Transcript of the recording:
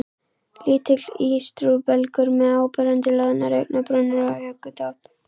Lítill ístrubelgur með áberandi loðnar augnabrúnir og hökutopp.